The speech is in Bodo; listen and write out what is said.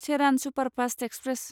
Cheran superfast express